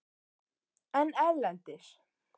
En erlendis?